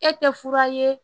E tɛ fura ye